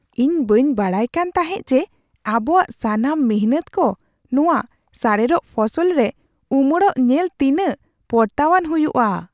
ᱤᱧ ᱵᱟᱹᱧ ᱵᱟᱰᱟᱭ ᱠᱟᱱ ᱛᱟᱦᱮᱜ ᱡᱮ ᱟᱵᱚᱣᱟᱜ ᱥᱟᱱᱟᱢ ᱢᱤᱱᱦᱟᱹᱛ ᱠᱚ ᱱᱚᱣᱟ ᱥᱟᱨᱮᱲᱚᱜ ᱯᱷᱚᱥᱚᱞ ᱨᱮ ᱩᱢᱟᱹᱲᱚᱜ ᱧᱮᱞ ᱛᱤᱱᱟᱹᱜ ᱯᱚᱨᱛᱟᱣᱟᱱ ᱦᱩᱭᱩᱜᱼᱟ ᱾